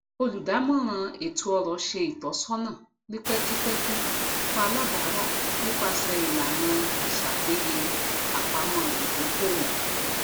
olùdámọràn ètóọrọ ṣe ìtọsọnà ni pẹkipẹki fún alábara nípasẹ ìlànà isapeyé apamọ idokoowo